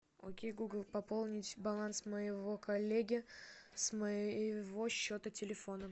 окей гугл пополнить баланс моего коллеги с моего счета телефона